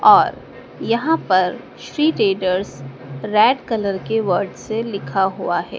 और यहां पर श्री ट्रेडर्स रेड कलर के वर्ड से लिखा हुआ है।